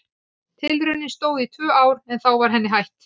Tilraunin stóð í tvö ár en þá var henni hætt.